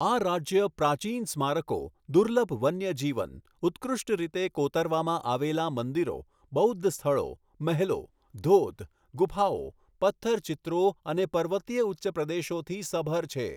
આ રાજ્ય પ્રાચીન સ્મારકો, દુર્લભ વન્યજીવન, ઉત્કૃષ્ટ રીતે કોતરવામાં આવેલા મંદિરો, બૌદ્ધ સ્થળો, મહેલો, ધોધ, ગુફાઓ, પથ્થર ચિત્રો અને પર્વતીય ઉચ્ચપ્રદેશોથી સભર છે.